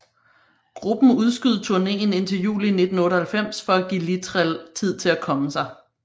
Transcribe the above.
Gruppen udskød turnéen indtil juli 1998 for at give Littrell tid til at komme sig